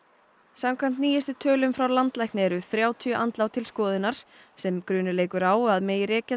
samkvæmt nýjustu tölum frá landlækni eru þrjátíu andlát til skoðunar sem grunur leikur á að megi rekja